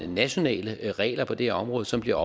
nationale regler på det her område som bliver